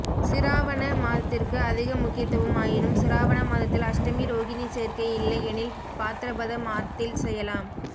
சிராவண மாதத்திற்கு அதிக முக்கியத்துவம் ஆயினும் சிராவண மாதத்தில் அஷ்டமி ரோகினி சேர்க்கை இல்லை எனில் பாத்ரபத மாத்தில் செய்யலாம்